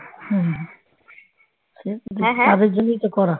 হুঁ সেই তাদের জন্যই তো করা